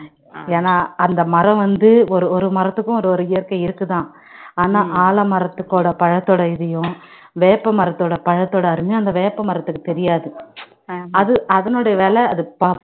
ஏன்னா அந்த மரம் வந்து ஒரு ஒரு மரத்துக்கும் ஒரு ஒரு இயற்கை இருக்குதான் ஆனா ஆலமரத்துக்கோட பழத்தோட இதையும் வேப்ப மரத்தோட பழத்தோட அருமை அந்த வேப்ப மரத்துக்கு தெரியாது அது அதனுடைய விலை அது ப~